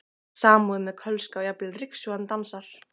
Samúðin með Kölska og jafnvel ryksugan dansar.